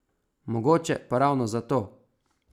Mogoče pa ravno zato?